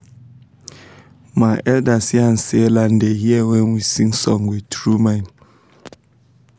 my elders yan say land da hear when we sing song with tru mind